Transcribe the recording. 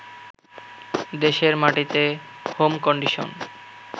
দেশের মাটিতে home condition